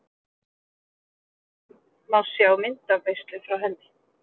Hér að neðan má sjá myndaveislu frá henni.